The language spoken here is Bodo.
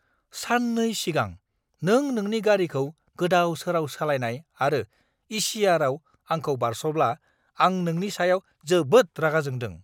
सान 2 सिगां नों नोंनि गारिखौ गोदाव-सोराव सालायनाय आरो इ.सि.आर.आव आंखौ बारस'ब्ला आं नोंनि सायाव जोबोद रागा जोंदों!